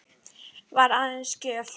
Var aðeins gjöf.